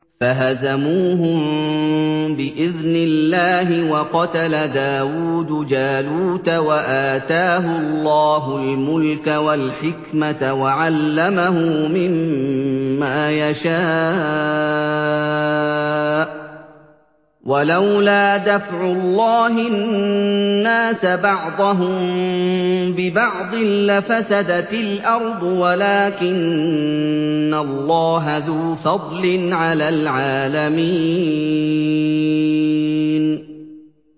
فَهَزَمُوهُم بِإِذْنِ اللَّهِ وَقَتَلَ دَاوُودُ جَالُوتَ وَآتَاهُ اللَّهُ الْمُلْكَ وَالْحِكْمَةَ وَعَلَّمَهُ مِمَّا يَشَاءُ ۗ وَلَوْلَا دَفْعُ اللَّهِ النَّاسَ بَعْضَهُم بِبَعْضٍ لَّفَسَدَتِ الْأَرْضُ وَلَٰكِنَّ اللَّهَ ذُو فَضْلٍ عَلَى الْعَالَمِينَ